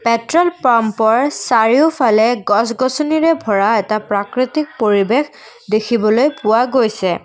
Petrol পাম্পৰ চাৰিওফালে গছ গছনিৰে ভৰা এটা প্ৰাকৃতিক পৰিৱেশ দেখিবলৈ পোৱা গৈছে।